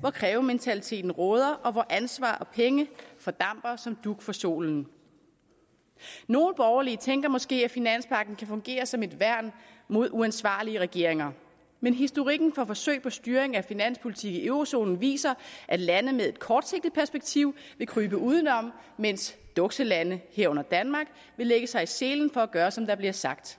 hvor krævementaliteten råder og hvor ansvar og penge fordamper som dug for solen nogle borgerlige tænker måske at finanspagten kan fungere som et værn mod uansvarlige regeringer men historikken for forsøg på styring af finanspolitik i eurozonen viser at lande med et kortsigtet perspektiv vil krybe udenom mens dukselande herunder danmark vil lægge sig i selen for at gøre som der bliver sagt